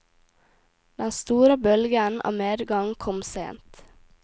Den store bølgen av medgang kom sent.